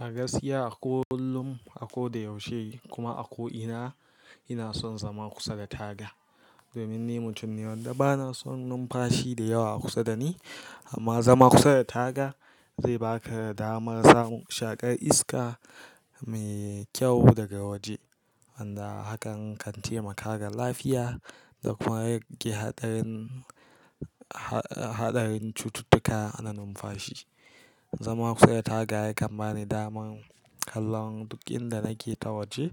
A gaskiya a ko kullum, a ko da yaushe kuma a ko ina, ina son zama kusa da taga. Domin ni mutum ne wanda ba na son numfashi da yawa kusa da ni, amma zama kusa da taga zai baka damar samun shaƙar iska mai kyau daga waje. Wanda hakan kan taimaka ga lafiya da kuma rage haɗarin, ha-haɗarin cututtuka na numfashi. Zama kusa da taga yakan bani daman kallon duk inda nake ta waje